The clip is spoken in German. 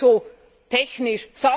Das klingt so technisch.